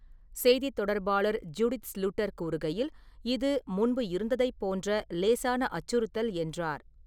செய்தித் தொடர்பாளர் Judith Sluiter கூறிகையில்: "இது முன்பு இருந்ததைப் போன்ற லேசான அச்சுறுத்தல்" என்றார்.